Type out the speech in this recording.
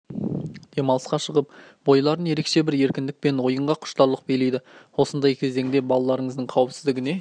демалысқа шығып бойларын ерекше бір еркіндік пен ойынға деген құштарлық билейді осындай кезеңде балаларыңыздың қауіпсіздігіне